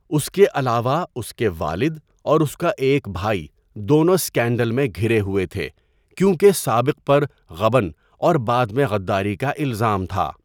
اس کے علاوہ، اس کے والد اور اس کا ایک بھائی دونوں اسکینڈل میں گھرے ہوئے تھے کیونکہ سابق پر غبن اور بعد میں غداری کا الزام تھا۔